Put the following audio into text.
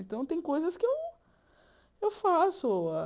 Então, tem coisas que eu eu faço.